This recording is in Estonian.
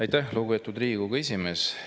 Aitäh, lugupeetud Riigikogu esimees!